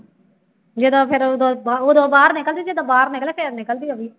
ਜਦੋਂ ਫਿਰ ਉਦੋਂ ਉਦੋਂ ਬਾਹਰ ਨਿਕਲਦੀ ਜਦੋਂ ਬਾਹਰ ਨਿਕਲਦਾ ਫਿਰ ਨਿਕਲਦੀ ਉਹ ਵੀ।